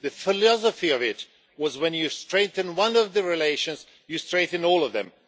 The philosophy of it was that when you strengthen one of the relations, you strengthen all of them.